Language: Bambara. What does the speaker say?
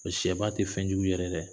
O sɛba tɛ fɛnjugu yɛgɛ yɛda